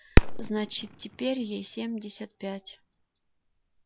значит теперь ей семьдесят пять